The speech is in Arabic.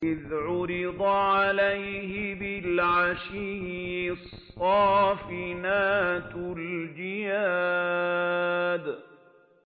إِذْ عُرِضَ عَلَيْهِ بِالْعَشِيِّ الصَّافِنَاتُ الْجِيَادُ